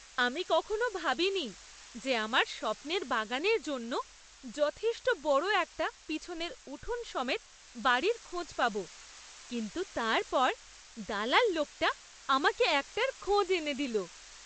আমি কখনও ভাবিনি যে আমার স্বপ্নের বাগানের জন্য যথেষ্ট বড় একটা পিছনের উঠোন সমেত বাড়ির খোঁজ পাব, কিন্তু তারপর দালাল লোকটা আমাকে একটার খোঁজ এনে দিল!